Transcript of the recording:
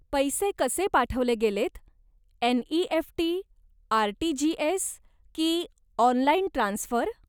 पैसे कसे पाठवले गेलेत, एन.इ.एफ.टी, आर.टी.जी.एस. की ऑनलाईन ट्रान्सफर?